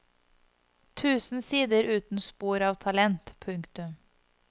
Tusen sider uten spor av talent. punktum